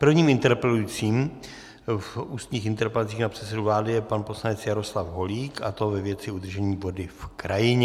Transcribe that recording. Prvním interpelujícím v ústních interpelacích na předsedu vlády je pan poslanec Jaroslav Holík, a to ve věci udržení vody v krajině.